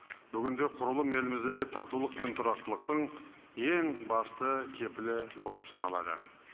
бүгінде құрылым еліміздегі татулық пен тұрақтылықтың ең басты кепілі болып саналады